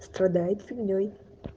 страдает фигней